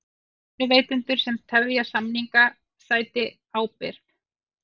Vinnuveitendur sem tefja samninga sæti ábyrgð